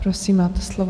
Prosím, máte slovo.